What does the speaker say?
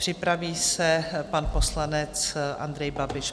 Připraví se pan poslanec Andrej Babiš.